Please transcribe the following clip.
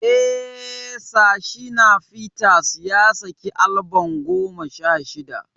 Eh, Sir Shina Peters ya saki albam goma sha shida.